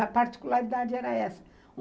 A particularidade era essa.